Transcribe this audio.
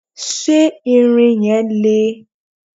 ṣé ìrìn yẹn le?